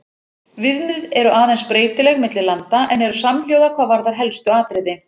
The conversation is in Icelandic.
Viðmið eru aðeins breytileg milli landa en eru samhljóða hvað varðar helstu atriði.